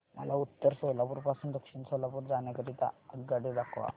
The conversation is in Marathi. मला उत्तर सोलापूर पासून दक्षिण सोलापूर जाण्या करीता आगगाड्या दाखवा